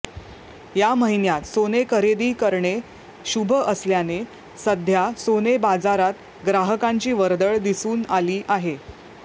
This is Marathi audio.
या महिन्यात सोने खरेदी करणे शुभ असल्याने सध्या सोने बाजारात ग्राहकांची वर्दळ दिसून आली आहे